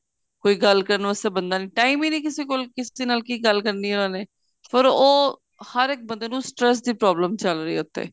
ਕੋਈ ਗੱਲ ਕਰਨ ਵਾਸਤੇ ਬੰਦਾ ਨੀਂ time ਈ ਨੀਂ ਕਿਸੇ ਕੋਲ ਕਿਸੇ ਨਾਲ ਕਿ ਗੱਲ ਕਰਨੀ ਏ ਉਹਨਾ ਨੇ ਪਰ ਉਹ ਹਰ ਇੱਕ ਬੰਦੇ ਨੂੰ stress ਦੀ problem ਚੱਲ ਰਹੀ ਏ ਉੱਥੇ